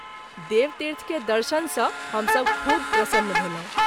देवतीर्थ के दर्शन सँ हम सभ खूब प्रसन्न भेलहुँ।